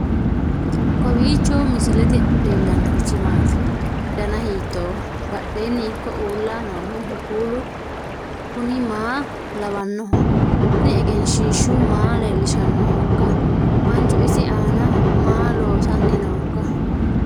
kowiicho misilete leellanorichi maati ? dana hiittooho ?badhhenni ikko uulla noohu kuulu kuni maa lawannoho? kuni egenshshiishu maa leellishshannohoikka manchu isi aana maa loosanni noikka